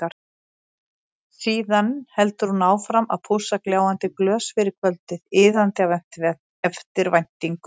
Síðan heldur hún áfram að pússa gljáandi glös fyrir kvöldið, iðandi af eftirvæntingu.